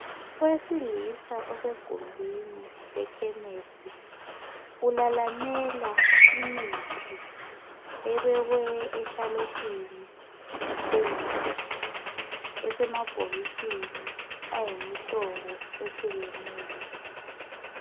Owesilisa osegumbini lekhemisi ulalamela imithi ebekwe eshalufini phezulu esemabhokisini ayimihlobo ehlukeneyo.